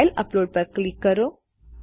file upload પર click કરો